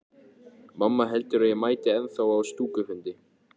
Mamma heldur að ég mæti ennþá á stúkufundi.